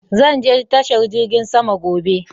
Zan je tashar jirgin sama gobe.